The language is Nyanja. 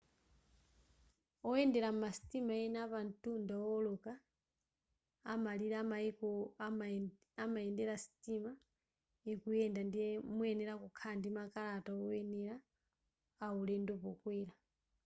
oyendela mmasitima ena apantunda owoloka amalire a maiko amayendela sitima ikuyenda ndiye muyenela kukhala ndi makalata oyenela a ulendo pokwela